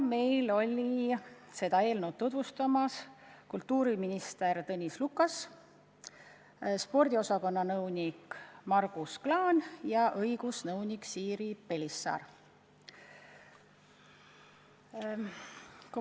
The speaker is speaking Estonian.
Eelnõu käisid tutvustamas kultuuriminister Tõnis Lukas, ministeeriumi spordiosakonna nõunik Margus Klaan ja õigusnõunik Siiri Pelisaar.